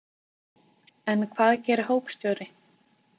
En hvað gerir hópstjóri?